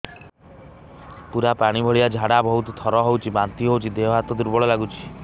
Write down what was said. ପୁରା ପାଣି ଭଳିଆ ଝାଡା ବହୁତ ଥର ହଉଛି ବାନ୍ତି ହଉଚି ଦେହ ହାତ ଦୁର୍ବଳ ଲାଗୁଚି